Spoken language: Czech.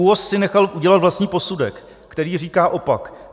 ÚOHS si nechal udělat vlastní posudek, který říká opak.